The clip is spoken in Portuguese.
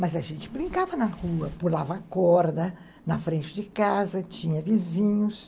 Mas a gente brincava na rua, pulava a corda na frente de casa, tinha vizinhos.